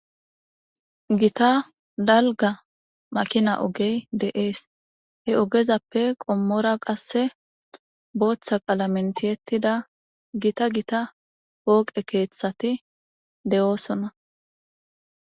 gita dalga makina ogey de7ees he ogezappe qommora qasse booththa qalamentiyettida gita gita pooqe keeththati de7oosona